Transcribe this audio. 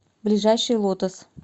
ближайший лотос